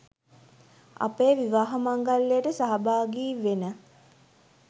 අපේ විවාහ මංගල්‍යයට සහභාගි වෙන